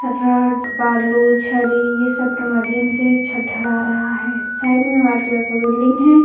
Rod बालू छरी यह सब के माध्यम से छत ढला रहा है साइड में वाइट कलर का बिल्डिंग है ।